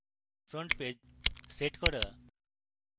front page set করা